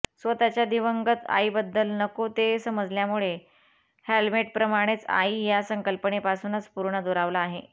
स्वतःच्या दिवंगत आईबद्दल नको ते समजल्यामुळे हॅम्लेटप्रमाणेच आई या संकल्पनेपासूनच पूर्ण दुरावला आहे